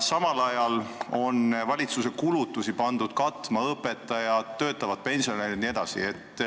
Samal ajal on valitsuse kulutusi pandud katma õpetajad, töötavad pensionärid jne.